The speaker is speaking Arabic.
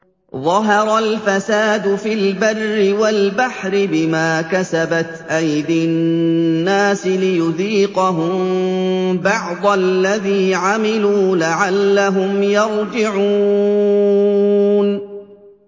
ظَهَرَ الْفَسَادُ فِي الْبَرِّ وَالْبَحْرِ بِمَا كَسَبَتْ أَيْدِي النَّاسِ لِيُذِيقَهُم بَعْضَ الَّذِي عَمِلُوا لَعَلَّهُمْ يَرْجِعُونَ